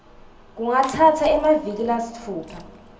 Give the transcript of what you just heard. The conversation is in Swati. kungatsatsa emaviki lasitfupha